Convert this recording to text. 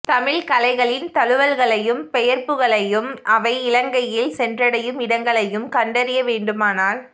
தமிழ்க் கலைகளின் தழுவல்களையும் பெயர்ப்புகளையும் அவை இலங்கையில் சென்றடையும் இடங்களையும் கண்டறிய வேண்டுமானால்